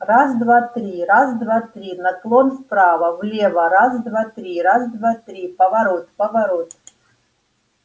раз-два-три раз-два-три наклон вправо влево раз-два-три раз-два-три поворот поворот